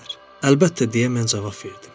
"Əlbəttə," deyə mən cavab verdim.